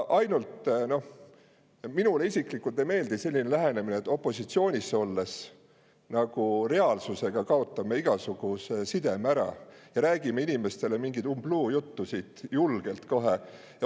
Ainult et minule isiklikult ei meeldi selline lähenemine, et me opositsioonis olles nagu kaotame reaalsusega igasuguse sideme ära ja räägime kohe julgelt inimestele mingisugust umbluujuttu.